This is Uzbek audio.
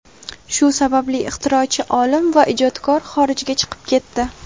Shu sababli ixtirochi olim va ijodkorlar xorijga chiqib ketdi.